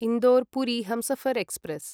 Indore Puri Humsafar express